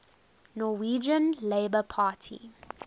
norwegian labour party